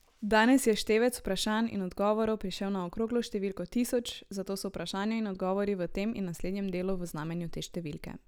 Danes je števec vprašanj in odgovorov prišel na okroglo številko tisoč, zato so vprašanja in odgovori v tem in naslednjem delu v znamenju te številke.